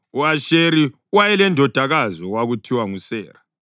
(U-Asheri wayelendodakazi okwakuthiwa nguSera.)